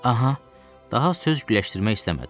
Daha söz güləşdirmək istəmədim.